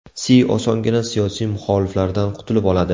Si osongina siyosiy muxoliflaridan qutulib oladi.